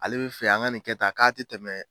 Ale bɛ fɛ an ka nin kɛ tan k'a tɛ tɛmɛ